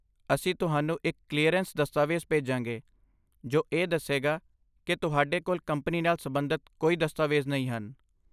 ਅਸੀਂ ਤੁਹਾਨੂੰ ਇੱਕ ਕਲੀਅਰੈਂਸ ਦਸਤਾਵੇਜ਼ ਭੇਜਾਂਗੇ ਜੋ ਇਹ ਦੱਸੇਗਾ ਕਿ ਤੁਹਾਡੇ ਕੋਲ ਕੰਪਨੀ ਨਾਲ ਸਬੰਧਤ ਕੋਈ ਦਸਤਾਵੇਜ਼ ਨਹੀਂ ਹਨ।